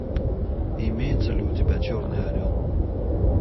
имеется ли у тебя черный орел